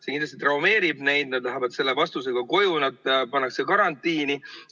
See kindlasti traumeerib noori, nad lähevad selle vastusega koju, nad pannakse karantiini.